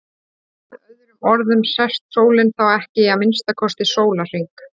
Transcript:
Með öðrum orðum sest sólin þá ekki í að minnsta kosti sólarhring.